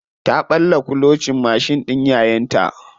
Ta ɓalla kulocin mashin ɗin yayanta.